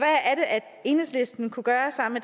enhedslisten kunne gøre sammen